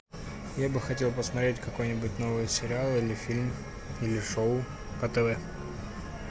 я бы хотел посмотреть какой нибудь новый сериал или фильм или шоу по тв